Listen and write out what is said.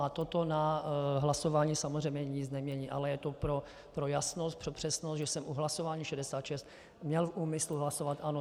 A toto na hlasování samozřejmě nic nemění, ale je to pro jasnost, pro přesnost, že jsem u hlasování 66 měl v úmyslu hlasovat "ano".